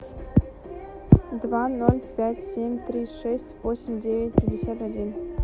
два ноль пять семь три шесть восемь девять пятьдесят один